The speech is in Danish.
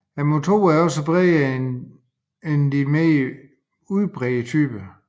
Motorerne er også bredere end de mere udbredte typer